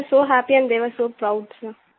थे were so happy and they were so proud सिर